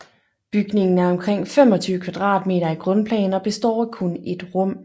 Bygningen er omkring 25 m2 i grundplan og består af kun ét rum